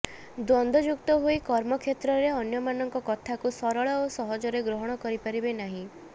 ଦ୍ୱନ୍ଦଯୁକ୍ତ ହୋଇ କର୍ମକ୍ଷେତ୍ରରେ ଅନ୍ୟମାନଙ୍କ କଥାକୁ ସରଳ ଓ ସହଜରେ ଗ୍ରହଣ କରିପାରିବେ ନାହିଁ